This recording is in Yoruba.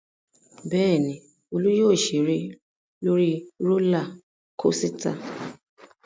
Bẹ́ẹ̀ ni, Olú yóò ṣeré lórí rólá kosità.